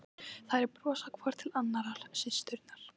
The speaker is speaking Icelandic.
Þær brosa hvor til annarrar, systurnar.